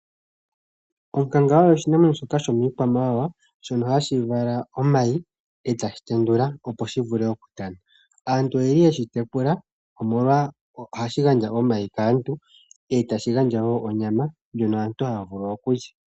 Onkanga oyo oshinamwenyo shoka shomiikwamawawa shono hashi vala omayi etashi tendula opo shi vule okutana. Aantu oyeli yeshi tekula omolwa ohashi gandja omayi kaantu etashi gandja wo onyama ndjono aantu haya vulu okulya.